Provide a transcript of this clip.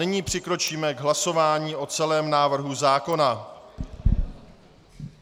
Nyní přikročíme k hlasování o celém návrhu zákona.